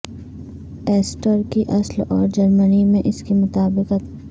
Easter کی اصل اور جرمنی میں اس کی مطابقت